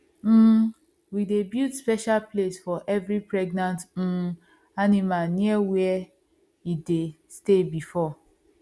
um we dey build special place for every pregnant um animal near where e dey stay before